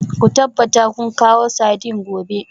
Ku tabbata kun kawo sardines gobe